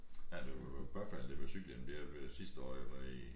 Ja det jo påfaldende det med cykelhjelmen der ved sidste år jeg var i